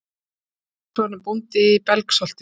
Haraldur Magnússon er bóndi í Belgsholti.